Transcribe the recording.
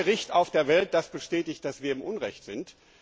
Es gibt kein Gericht auf der Welt, das bestätigt, dass wir im Unrecht sind.